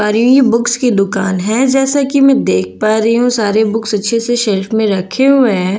ये बुक्स की दुकान है जैसा कि मैं देख पा रही हूं सारे बुक्स अच्छे से शेल्फ में रखे हुए हैं।